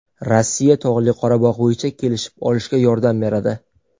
Rossiya Tog‘li Qorabog‘ bo‘yicha kelishib olishga yordam beradi.